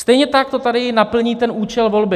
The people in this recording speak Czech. Stejně tak to tady naplní ten účel volby.